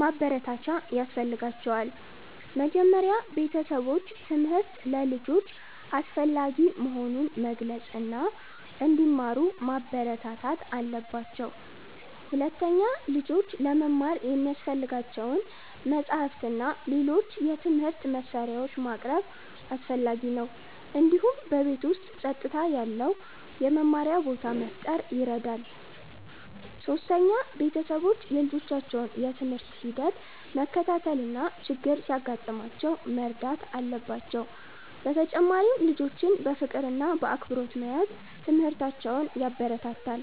ማበረታቻ ያስፈልጋቸዋል። መጀመሪያ ቤተሰቦች ትምህርት ለልጆች አስፈላጊ መሆኑን መግለጽ እና እንዲማሩ ማበረታታት አለባቸው። ሁለተኛ፣ ልጆች ለመማር የሚያስፈልጋቸውን መጻሕፍት እና ሌሎች የትምህርት መሳሪያዎች ማቅረብ አስፈላጊ ነው። እንዲሁም በቤት ውስጥ ጸጥታ ያለው የመማሪያ ቦታ መፍጠር ይረዳል። ሶስተኛ፣ ቤተሰቦች የልጆቻቸውን የትምህርት ሂደት መከታተል እና ችግር ሲያጋጥማቸው መርዳት አለባቸው። በተጨማሪም ልጆችን በፍቅር እና በአክብሮት መያዝ ትምህርታቸውን ያበረታታል።